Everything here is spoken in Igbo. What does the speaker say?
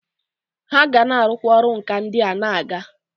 Ha ga na arukwa oru nka ndia na aga.